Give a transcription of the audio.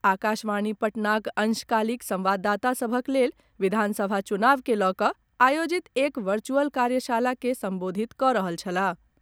आकाशवाणी पटनाक अंशकालिक संवाददाता सभक लेल विधानसभा चुनाव के लऽ कऽ आयोजित एक वर्चुअल कार्यशाला के संबोधित कऽ रहल छलाह।